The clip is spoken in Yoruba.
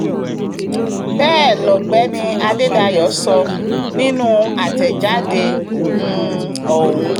bẹ́ẹ̀ lọ̀gbẹ́ni adédáyò sọ nínú àtẹ̀jáde um ọ̀hún